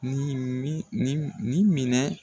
Nin ni minɛ